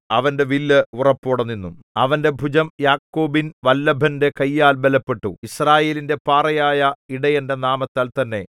അവന്റെ വില്ല് ഉറപ്പോടെ നിന്നു അവന്റെ ഭുജം യാക്കോബിൻ വല്ലഭന്റെ കയ്യാൽ ബലപ്പെട്ടു യിസ്രായേലിന്റെ പാറയായ ഇടയന്റെ നാമത്താൽ തന്നെ